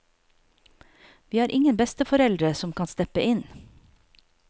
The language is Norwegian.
Vi har ingen besteforeldre som kan steppe inn.